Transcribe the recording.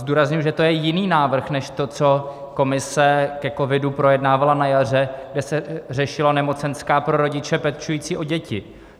Zdůrazňuji, že to je jiný návrh než to, co Komise ke covidu projednávala na jaře, kde se řešila nemocenská pro rodiče pečující o děti.